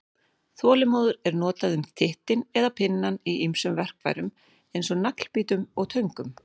Þolinmóður er notað um tittinn eða pinnann í ýmsum verkfærum eins og naglbítum og töngum.